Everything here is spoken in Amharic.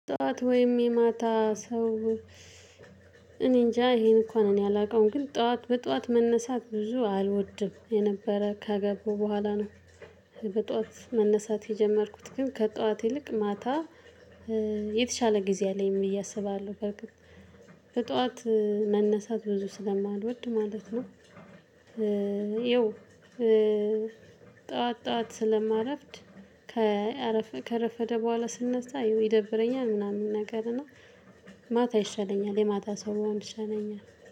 ጠዋት ወይም የማታ ሰው እኔንጃ ይሄን እንኳን እኔ አላውቀውም ግን ጠዋት በጠዋት መነሳት ብዙ አልወድም የነበረ ከገቡ በኋላ ነው። በጧት መነሳት የጀመርኩት ግን ከጧት ይልቅ ማታ። የተሻለ ጊዜ አለኝ ብየ አሰብ አለው። በርግጥ በጠዋት መነሳት ብዙ ስለማልወድ ማለት ነው። ያው ጠዋት ጠዋት ስለማረፍድ ከአረፈድኩ ከረፈደ በኋላ ስነሳ ያው ይደብረኛል። ምናምን ነገር እና ማታ ይሻለኛል የማታ ሰው ብሆን ይሻለኛል።